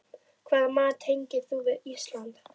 Hvaða mat tengir þú við Ísland?